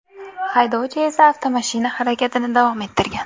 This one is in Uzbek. Haydovchi esa avtomashina harakatini davom ettirgan.